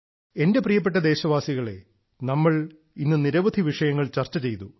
എന്റെ പ്രിയപ്പെട്ട ദേശവാസികളെ നമ്മൾ ഇന്ന് നിരവധി വിഷയങ്ങൾ ചർച്ച ചെയ്തു